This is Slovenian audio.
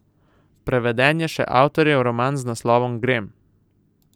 Preveden je še avtorjev roman z naslovom Grem.